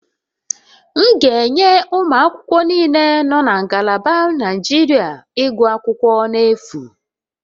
M ga-enye ụmụ akwụkwọ niile nọ na ngalaba injinia iguakwukwo n' efu